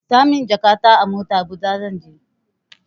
Sa min jakata a mota, Habuja zan je.